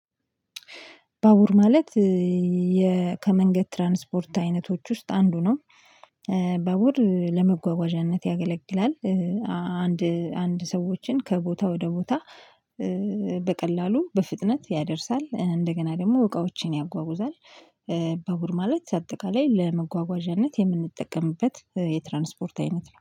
ባቡር ማለት ከመንገድ ትራንስፖርት አይነቶች ውስጥ አንዱ ነው። ባቡር ለመጓጓዣነት ያገለግላል። አንድ አንድ ሰዎችን ከቦታ ወደ ቦታ በቀላሉ፣ በፍጥነት ያደርሳል። እንደገና ደግሞ እቃዎችን ያጓጉዛል። ባቡር ማለት አጠቃላይ ለመጓጓዣነት የምንጠቀምበት የትራንስፖርት አይነት ነው።